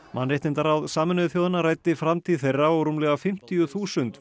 mannréttindaráð Sameinuðu þjóðanna ræddi framtíð þeirra og rúmlega fimmtíu þúsund